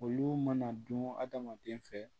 Olu mana dun hadamaden fɛ